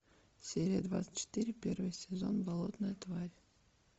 серия двадцать четыре первый сезон болотная тварь